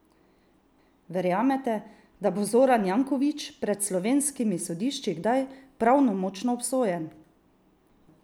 Verjamete, da bo Zoran Janković pred slovenskimi sodišči kdaj pravnomočno obsojen?